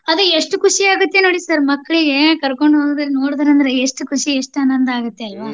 ಅದೇ ಎಷ್ಟ್ ಖುಷಿಯಾಗುತ್ತೆ ನೋಡ್ರಿ sir ಮಕ್ಳಿಗೆ ಕರ್ಕೊಂದ್ ಹೋಗ್ದರ್ ನೋಡ್ದರ್ ಅಂದ್ರ ಎಷ್ಟ್ ಖುಷಿ ಎಷ್ಟ್ ಆನಂದ ಆಗತ್ತಲ್ವಾ .